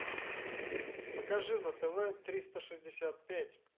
покажи на тв триста шестьдесят пять